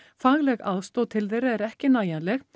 fagleg aðstoð til þeirra er ekki nægjanleg